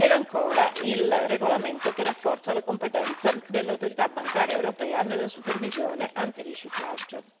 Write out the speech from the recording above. nonché il regolamento che rafforza la competenza dell'Autorità bancaria europea nella supervisione antiriciclaggio.